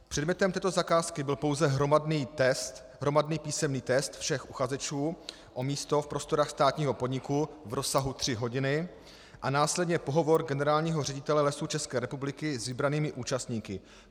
Předmětem této zakázky byl pouze hromadný písemný test všech uchazečů o místo v prostorách státního podniku v rozsahu tři hodiny a následně pohovor generálního ředitele Lesů České republiky s vybranými účastníky.